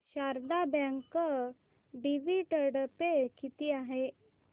Sharda bank dividend pay किती आहे